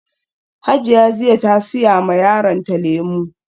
Hajiya jiya ta siya ma yaronta lemu